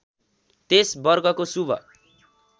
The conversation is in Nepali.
त्यस वर्गको शुभ